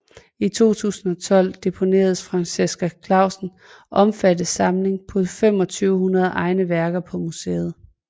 I 2012 deponeredes Franciska Clausens omfattende samling på 2500 egne værker på museet